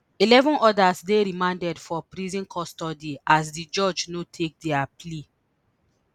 eleven odas dey remanded for prison custody as di judge no take dia plea